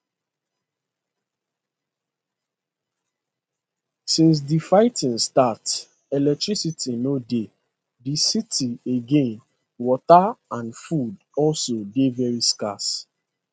since di fighting start electricity no dey di city again water and food also dey very scarce